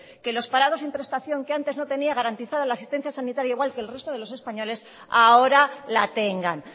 que los parados sin prestación que antes no tenían garantizada la asistencia sanitaria igual que el resto de los españoles ahora la tengan